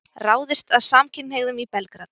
Ráðist að samkynhneigðum í Belgrad